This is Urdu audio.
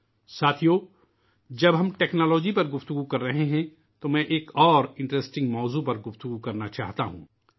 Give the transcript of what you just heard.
ساتھیو ، جب ہم ٹیکنالوجی کی بات کر رہے ہیں تو میں ایک اور دلچسپ موضوع پر بات کرنا چاہتا ہوں